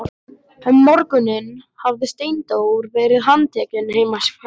Um morguninn hafði Steindór verið handtekinn heima hjá sér.